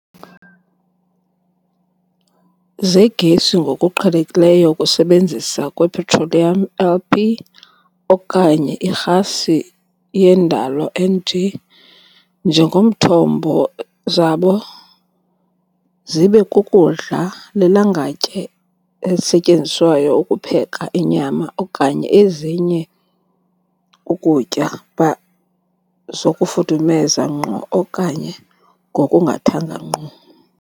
Zegesi ngokuqhelekileyo ukusebenzisa lwepetroliyam, LP, okanye irhasi yendalo, NG, njengomthombo zabo zibe kukudla lilangatye elisetyenziswayo ukupheka inyama okanye ezinye ukutya by zokufudumeza ngqo okanye ngokungathanga ngqo.